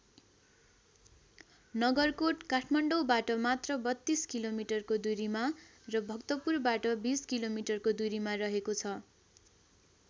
नगरकोट काठमाडौँबाट मात्र ३२ किलोमिटरको दूरिमा र भक्तपुरबाट २० किलोमिटरको दुरिमा रहेको छ।